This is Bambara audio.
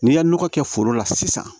N'i ye nɔgɔ kɛ foro la sisan